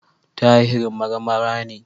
Tahir Marmara ne.